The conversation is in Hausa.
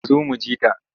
Ta zo mu ji ta.